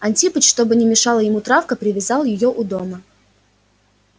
антипыч чтобы не мешала ему травка привязал её у дома